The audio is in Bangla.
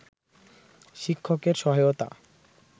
শিক্ষকের সহায়তা